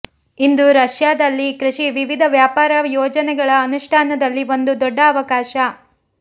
ಇಂದು ರಷ್ಯಾದಲ್ಲಿ ಕೃಷಿ ವಿವಿಧ ವ್ಯಾಪಾರ ಯೋಜನೆಗಳ ಅನುಷ್ಠಾನದಲ್ಲಿ ಒಂದು ದೊಡ್ಡ ಅವಕಾಶ